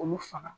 Olu faga